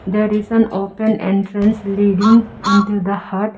there is an open entrance leading into the hut.